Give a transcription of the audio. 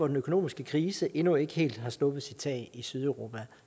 den økonomiske krise som endnu ikke helt har sluppet sit tag i sydeuropa